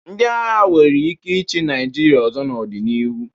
Ndị agha nwere ike ịchị Naịjirịa ọzọ n'ọdịnihu.